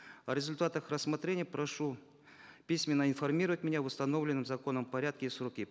о результатах рассмотрения прошу письменно информировать меня в установленном законом порядки и сроки